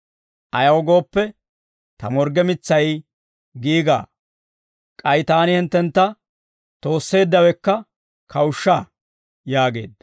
Ayaw gooppe, ta morgge mitsay giigaa; k'ay taani hinttentta toosseeddawekka kawushsha» yaageedda.